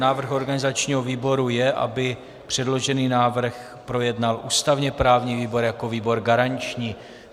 Návrh organizačního výboru je, aby předložený návrh projednal ústavně-právní výbor jako výbor garanční.